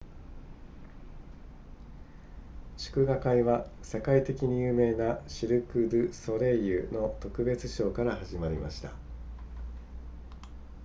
祝賀会は世界的に有名なシルクドゥソレイユの特別ショーから始まりました